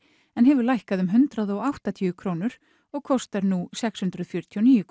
en hefur lækkað um hundrað og áttatíu krónur og kostar nú sex hundruð fjörutíu og níu